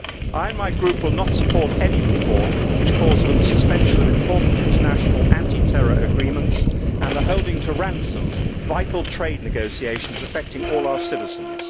I and my Group will not support any report which calls for the suspension of important international anti terror agreements and the holding to ransom of vital trade negotiations affecting all our citizens.